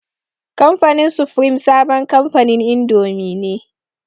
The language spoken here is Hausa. Kamfanin sufrim sabon kamfanin indomi ne.